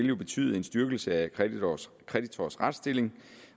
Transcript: vil betyde en styrkelse af kreditors retsstilling